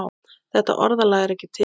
Þetta orðalag er ekki til.